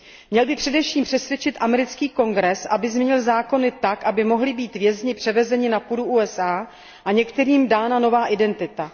Měl by především přesvědčit americký Kongres, aby změnil zákony tak, aby mohli být vězni převezeni na půdu USA a některým dána nová identita.